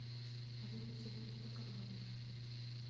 вызвать электрика в номер